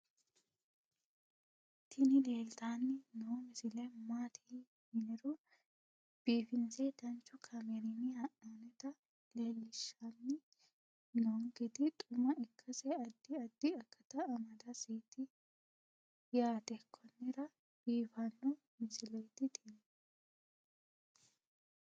tini leeltanni noo misile maaati yiniro biifinse danchu kaamerinni haa'noonnita leellishshanni nonketi xuma ikkase addi addi akata amadaseeti yaate konnira biiffanno misileeti tini